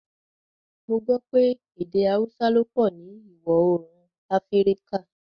Mo gbọ̀ pẹ̀ èdè Àúsà ló pọ ni Iwọ-oorun Afíríkà